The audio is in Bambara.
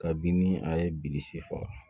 Kabini a ye bilisi faga